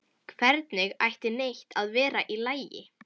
Hvernig ætti neitt að vera í lagi?